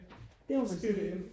det må man sige